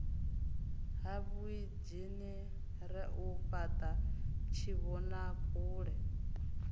ha vhuinzhinere u fhata tshivhonakule